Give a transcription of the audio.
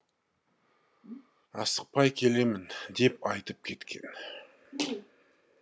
асықпай келемін деп айтып кеткен